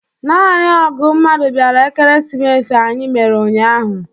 Naanị ógụ̀ mmadụ bịara Ekeresimesi anyị mere ụnyahụ.